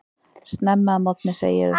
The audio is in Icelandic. Snemma að morgni segirðu.